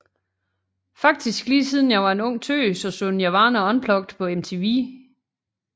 Faktisk lige siden jeg var en ung tøs og så Nirvana Unplugged på MTV